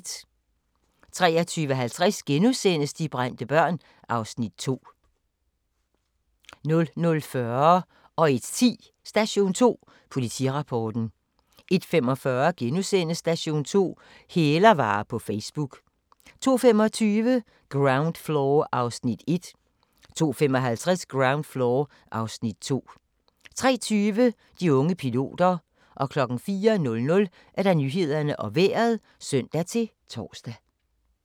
23:50: De brændte børn (Afs. 2)* 00:40: Station 2: Politirapporten 01:10: Station 2: Politirapporten 01:45: Station 2: Hælervarer på Facebook * 02:25: Ground Floor (Afs. 1) 02:55: Ground Floor (Afs. 2) 03:20: De unge piloter 04:00: Nyhederne og Vejret (søn-tor)